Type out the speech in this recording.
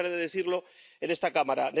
No me cansaré de decirlo en esta Cámara.